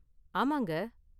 ஆமாங்க.